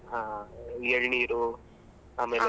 ಹ ಈ ಎಳ್ನೀರು ಆಮೇಲೆ.